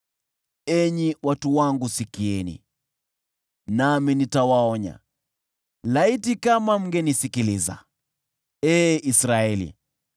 “Enyi watu wangu, sikieni, nami nitawaonya: laiti kama mngenisikiliza, ee Israeli!